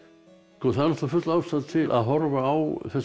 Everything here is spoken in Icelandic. það er full ástæða að horfa á þessar